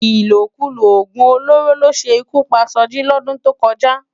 Ilókúló ógún ólóró ló sé ikú pá Soji lòdún tókòjá